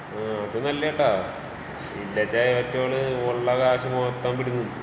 ആഹ് അത് നല്ലേട്ടോ. ഇല്ലാച്ചാ ഇവറ്റകള് ഉള്ള ക്യാഷ് മൊത്തം പിടിക്കും.